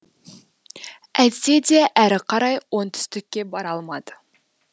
әйтсе де әрі қарай оңтүстікке бара алмады